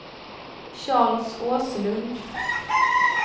Charles Åslund